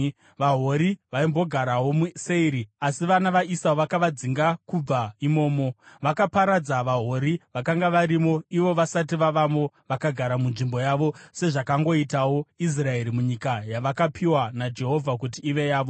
VaHori vaimbogarawo muSeiri, asi vana vaEsau vakavadzinga kubva imomo. Vakaparadza vaHori vakanga varimo ivo vasati vavamo vakagara munzvimbo yavo, sezvakangoitawo Israeri munyika yavakapiwa naJehovha kuti ive yavo).